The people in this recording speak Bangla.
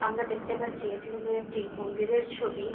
আমরা দেখতে পারছি এটি হল একটি মন্দিরের ছবি